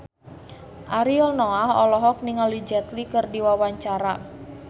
Ariel Noah olohok ningali Jet Li keur diwawancara